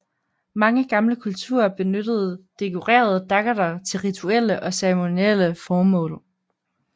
Mange gamle kulturer benyttede dekorerede daggerter til rituelle og cerimonielle formål